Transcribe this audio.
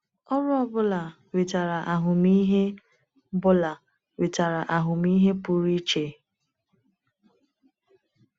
Ọrụ ọ bụla wetara ahụmịhe bụla wetara ahụmịhe pụrụ iche.